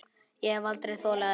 Ég hef aldrei þolað þetta